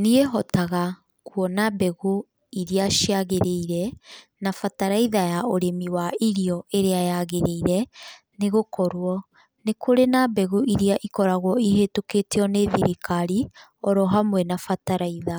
Niĩ hotaga kuona mbegũ iria ciagĩrĩire, na bataraitha ya ũrĩmi wa irio ĩrĩa yagĩrĩire, nĩ gũkorwo nĩ kũrĩ na mbegũ iria ikoragwo ihĩtũkĩtio nĩ thirikari, o hamwe na bataraitha,